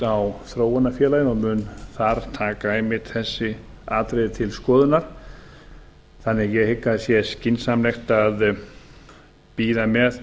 á þróunarfélaginu og mun þar taka einmitt þessi atriði til skoðunar þannig að ég hygg að það sé skynsamlegt að bíða með